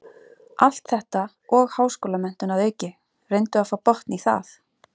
Allt þetta og háskólamenntun að auki, reyndu að fá botn í það.